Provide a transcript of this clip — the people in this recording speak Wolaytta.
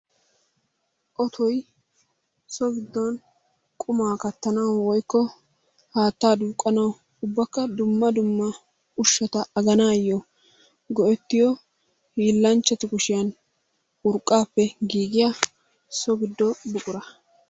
Ottoy so giddon qummaa kattanawu woykko haattaa duuqanawu ubbakka dumma dumma ushata aganaayo go'ettiyo hiilanchatu kushiyan urqaappe giigiya so giddo buqura.